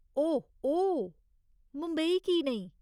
ओह ओ, मुंबई की नेईं ?